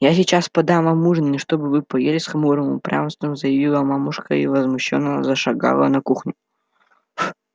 я сейчас подам вам ужин и чтоб вы поели с хмурым упрямством заявила мамушка и возмущённо зашагала на кухню